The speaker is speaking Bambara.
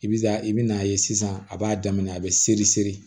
I bi taa i bi n'a ye sisan a b'a daminɛ a be seri seri